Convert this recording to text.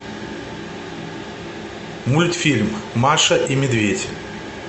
мультфильм маша и медведь